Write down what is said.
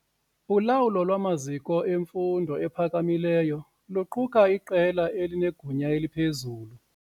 Ulawulo lwamaziko emfundo ephakamileyo luquka iqela elinegunya eliphezulu.